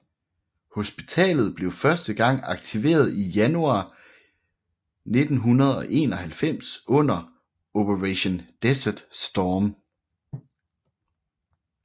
Hospitalet blev første gang aktiveret i januar 1991 under Operation Desert Storm